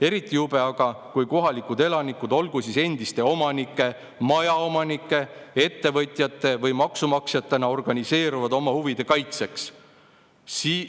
Eriti jube aga, kui kohalikud elanikud, olgu siis endiste omanike, majaomanike, ettevõtjate või maksumaksjatena organiseeruvad oma huvide kaitseks.